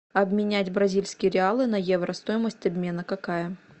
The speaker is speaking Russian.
обменять бразильские реалы на евро стоимость обмена какая